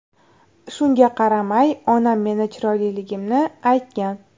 Shunga qaramay onam meni chiroyliligimni aytgan”.